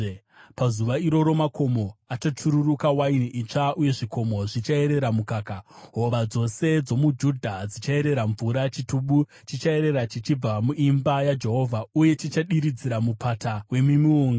“Pazuva iroro makomo achachururuka waini itsva, uye zvikomo zvichaerera mukaka; hova dzose dzomuJudha dzichaerera mvura. Chitubu chichaerera chichibva muimba yaJehovha, uye chichadiridzira mupata wemiti yemiunga.